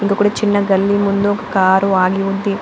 ఇంకొక గల్లీ ముందు చిన్న కార్ కూడా ఆగి ఉంది.